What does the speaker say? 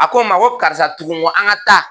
A ko ma ko karisa tugu n kɔ an ka taa.